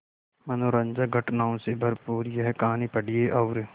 मनोरंजक घटनाओं से भरपूर यह कहानी पढ़िए और